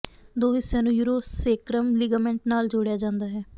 ਦੋ ਹਿੱਸਿਆਂ ਨੂੰ ਯੂਰੋ ਸੇਕ੍ਰਮ ਲਿਗਾਮੈਂਟ ਨਾਲ ਜੋੜਿਆ ਜਾਂਦਾ ਹੈ